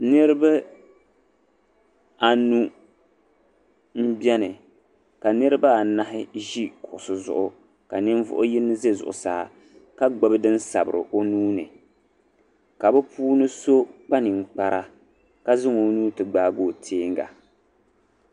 Niribi anu m-beni ka niriba anahi zi kuɣisi zuɣu ka nivuɣ' yin zɛ zuɣusaa ka gbibi din sabiri o nuu ni ka bi puuni so kpa ninkpara ka zaŋ o nuu ti gbaagi o tiɛŋga.